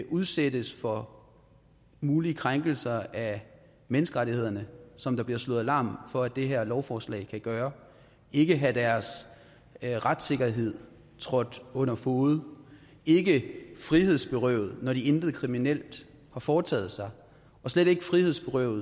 udsættes for mulige krænkelser af menneskerettighederne som der bliver slået alarm for at det her lovforslag kan gøre ikke have deres retssikkerhed trådt under fode ikke frihedsberøves når de intet kriminelt har foretaget sig og slet ikke frihedsberøves